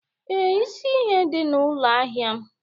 Ee, isi ihe dị na ụlọ ahịa m